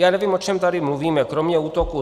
Já nevím, o čem tady mluvíme, kromě útoků.